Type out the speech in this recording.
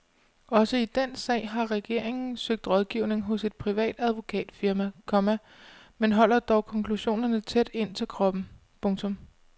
Også i den sag har regeringen søgt rådgivning hos et privat advokatfirma, komma men holder dog konklusionerne tæt ind til kroppen. punktum